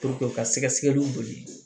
ka sɛgɛsɛgɛliw boli